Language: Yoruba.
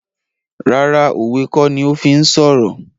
Rárá òwe kó ní o fí ń sọ̀rọ̀